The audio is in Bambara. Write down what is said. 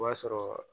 O b'a sɔrɔ